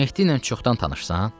Mehdi ilə çoxdan tanışsan?